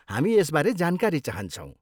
हामी यसबारे जानकारी चाहन्छौँ।